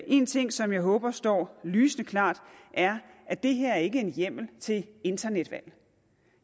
en ting som jeg håber står lysende klart er at det her ikke er en hjemmel til internetvalg